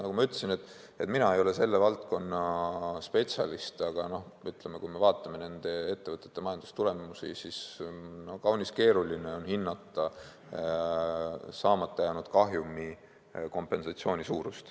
Nagu ma ütlesin, mina ei ole selle valdkonna spetsialist, aga kui me vaatame nende ettevõtete majandustulemusi, siis kaunis keeruline on hinnata, kui suur peaks olema saamata jäänud kasumi kompensatsioon.